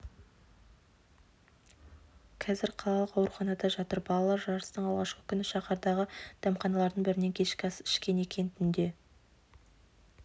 қазір қалалық ауруханада жатыр балалар жарыстың алғашқы күні шаһардағы дәмханалардың бірінен кешкі ас ішкен екен түнде